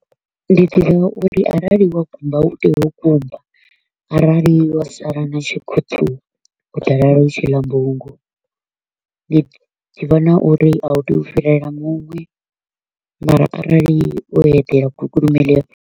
Ndi ḓivha uri arali wa kumba u tea u kumba, arali wa sala na tshikhuṱhu u ḓo lala u tshila mbungu. Ndi ḓivha na uri a u tei u fhirela muṅwe mara arali wo eḓela gukulume ḽi a .